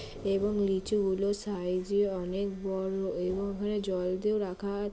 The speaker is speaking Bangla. এবং লিচু গুলো সাইজ -এ অনেক বড় এবং ওখানে জল দিয়ে রাখা আ--